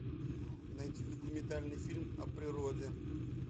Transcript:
найти документальный фильм о природе